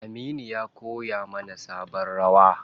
Aminu ya kowa mana sabon rawa.